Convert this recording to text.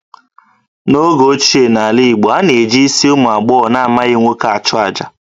N'oge ochie n'ala Igbo, a na-eji isi ụmụ agbọghọ na-amaghị nwoke achụ àjà